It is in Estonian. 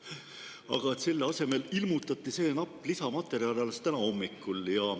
Aga selle asemel ilmutati see napp lisamaterjal alles täna hommikul.